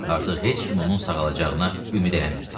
Artıq heç kim onun sağalacağına ümid eləmirdi.